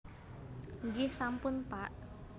Nggih sampun Pak